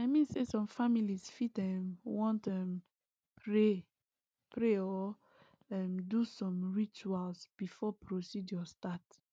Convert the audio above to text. i mean say some families fit ehm want um pray pray or um do some rituals before procedure start